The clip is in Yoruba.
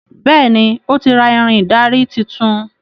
Béèni o tí ra Ìrìn ìdarí títún.